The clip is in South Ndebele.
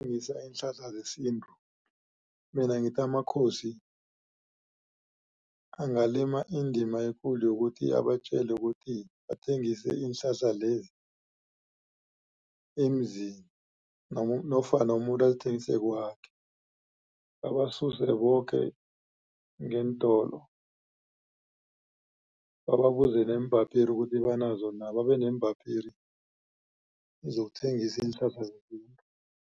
iinhlahla zesintu mina ngithi amakhosi angalima indima ekulu yokuthi abatjele ukuthi athengise iinhlahla lezi eemzini nofana umuntu azithengise kwakhe babasuse boke ngeentolo babuze neembapiri ukuthi banazo na babeneembapiri zokuthengisa iinhlahla